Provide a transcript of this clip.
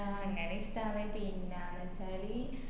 ആഹ് അങ്ങനെ ഇഷ്ട്ടന്ന് പിന്നാന്ന് വെച്ചാല്